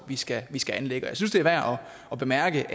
vi skal skal anlægge og jeg synes det er værd at bemærke